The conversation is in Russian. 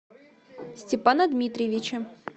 степана дмитриевича